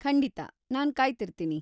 ಖಂಡಿತಾ, ನಾನ್‌ ಕಾಯ್ತಿರ್ತೀನಿ.